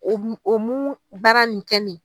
O mun o mun baara nin kɛ nin